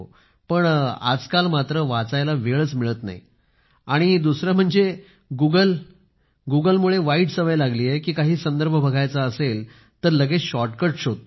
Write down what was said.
पण आजकाल मात्र वाचायला वेळ मिळत नाही आणि दुसरे म्हणजे गुगल मुळे वाईट सवय लागली आहे की काही संदर्भ बघायचा असेल तर लगेच शॉर्टकट शोधतो